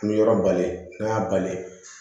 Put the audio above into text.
An bɛ yɔrɔ bali n'an y'a bali